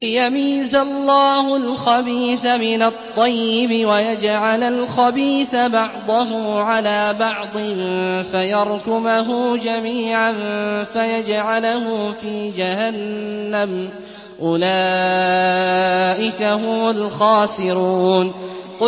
لِيَمِيزَ اللَّهُ الْخَبِيثَ مِنَ الطَّيِّبِ وَيَجْعَلَ الْخَبِيثَ بَعْضَهُ عَلَىٰ بَعْضٍ فَيَرْكُمَهُ جَمِيعًا فَيَجْعَلَهُ فِي جَهَنَّمَ ۚ أُولَٰئِكَ هُمُ الْخَاسِرُونَ